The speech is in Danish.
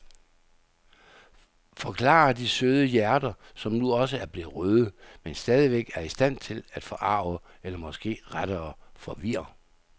Forklarer de søde hjerter, som nu også er blevet røde, men stadigvæk er i stand til at forarge eller måske rettere forvirre.